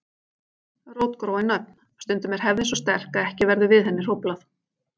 Rótgróin nöfn Stundum er hefðin svo sterk að ekki verður við henni hróflað.